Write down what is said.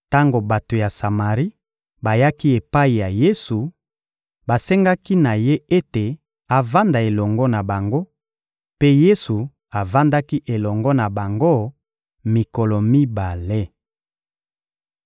Tango bato ya Samari bayaki epai ya Yesu, basengaki na Ye ete avanda elongo na bango; mpe Yesu avandaki elongo na bango mikolo mibale.